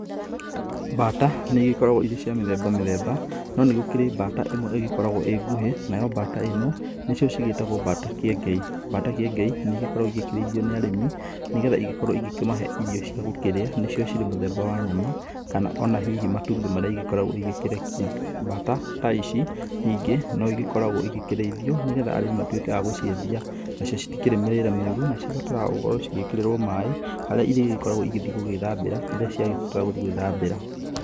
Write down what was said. Mbata nĩ igĩkoragwo irĩ cia mĩthemba mĩthemba, no nĩ gũkĩrĩ mbata ĩmwe ĩgĩkoragwo ĩ nguhĩ, nayo mbata ĩno, nĩcio cigĩĩtagwo mbata kĩengei, mbata kĩengei nĩ igĩkoragwo igĩkĩrĩithio nĩ arĩmi, nĩgetha igĩkorwo igĩkĩmahe irio cia gũkĩrĩa, nĩcio cirĩ mũthemba wa nyama, kana ona hihi matumbĩ marĩa igĩkoragwo igĩkĩrekia. Mbata ta ici ningĩ, no igĩkoragwo igĩkĩrĩithio nĩgetha arĩmi matuĩke a gũciendia nacio citikĩrĩ mĩrĩre mĩũru, na cigĩbataraga gũkorwo cigĩkĩrĩrwo maĩ, harĩa irĩgĩkoragwo igĩthiĩ gũgĩthambĩra rĩrĩa ciagĩbatara gũthiĩ gwĩthambĩra.